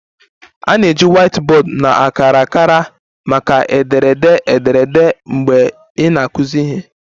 A na-eji whiteboard na akara akara maka ederede ederede mgbe ị na-akụzi ihe